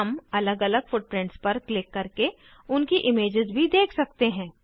हम अलग अलग फुटप्रिंट्स पर क्लिक करके उनकी इमेजेस भी देख सकते हैं